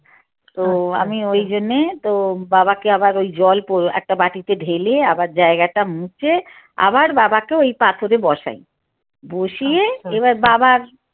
তো আমি ওই জন্যে তো বাবাকে আবার ওই জল একট বাটিতে ঢেলে আবার জায়গাটা মুছে আবার বাবা কে ওই পাথরে বসাই বসিয়ে এবার বাবার